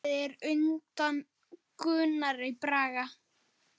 Grafið er undan Gunnari Braga.